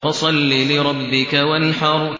فَصَلِّ لِرَبِّكَ وَانْحَرْ